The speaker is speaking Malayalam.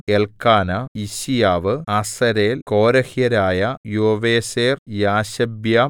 എല്ക്കാനാ യിശ്ശീയാവ് അസരേൽ കോരഹ്യരായ യോവേസെർ യാശൊബ്യാം